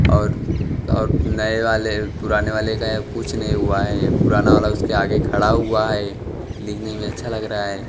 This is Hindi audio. और और नए वाले पुराने वाले का कुछ नहीं हुआ है पुराना वाला उसके आगे खड़ा हुआ है देखने में अच्छा लग रहा है।